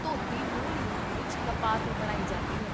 ਧੋਤੀ ਮੂਲ ਰੂਪ ਵਿੱਚ ਕਪਾਹ ਤੋਂ ਬਣਾਈ ਜਾਂਦੀ ਹੈ